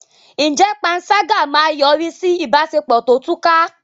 Ǹjẹ́ panṣágà máa yọrí sí ìbáṣepọ̀ tó túká?